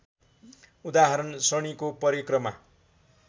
उदाहरण शनिको परिक्रमा